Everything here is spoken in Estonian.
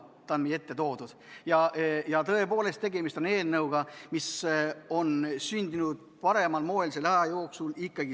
Nüüd on need meie ette toodud ja tõepoolest, tegemist on eelnõuga, mis on sündinud parimal moel.